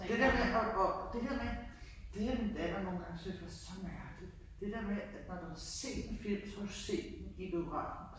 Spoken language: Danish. Det der med og og det der med det jeg nogengange har syntes er så mærkeligt det der med når du har set en film så har du set den i biografen